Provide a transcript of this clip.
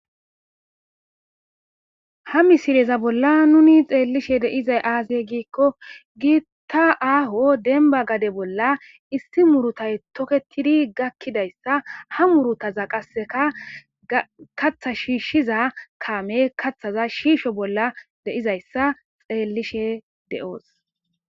ha misileza bolla nuni xeellishe deizay aazey giikko gi ta aaho denba gade bolla issi murutay toketidi gakkidayssa ha murutaza qasseka katha shiishshiza kaame kathaza shiisho bolla deizayssa xeellishe de7oos